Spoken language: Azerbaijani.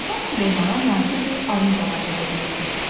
Sultan Süleymana nadir bir armud ağacı hədiyyə etmişdilər.